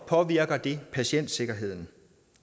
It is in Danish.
påvirker patientsikkerheden